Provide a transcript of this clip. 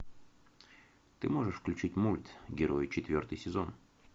ты можешь включить мульт герои четвертый сезон